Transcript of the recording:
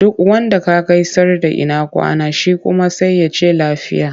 Duk wanda ka gaisar da ina kwana? Shi kuma sai ya ce lafiya.